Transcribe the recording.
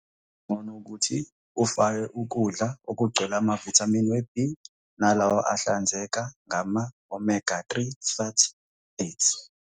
Kungcono ukuthi ufake ukudla okugcwele amavithamini we-B nalawo ahlinzeka ngama-omega 3 fatty acids.